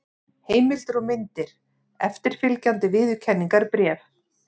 Heimildir og myndir: Eftirfylgjandi viðurkenningarbréf.